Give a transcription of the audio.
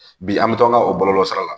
Bi an bɛ taa an ka o bɔlɔlɔsira